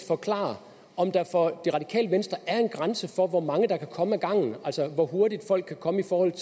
forklare om der for det radikale venstre er en grænse for hvor mange der kan komme ad gangen altså hvor hurtigt folk kan komme i forhold at